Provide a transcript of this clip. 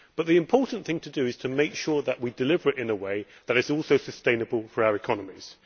But the important thing to do is to make sure that we deliver it in a way that is also sustainable for our economies.